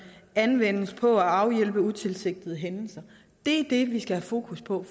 anvendes på at afhjælpe utilsigtede hændelser det er det vi skal have fokus på